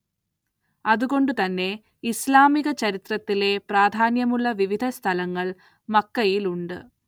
അത് കൊണ്ട് തന്നെ ഇസ്‌ലാമിക ചരിത്രത്തിലെ പ്രാധാന്യമുള്ള വിവിധ സ്ഥലങ്ങൾ മക്കയിലുണ്ട്.